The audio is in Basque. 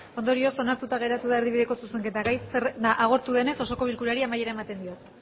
ondorioz onartuta geratu da erdibideko zuzenketa gai zerrenda agortu denez osoko bilkurari amaiera ematen diot